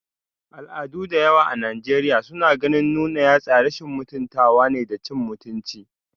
Al'adu da yawa a Najeriya suna ganin nuna yatsa rashin mutuntawa da cin mutunci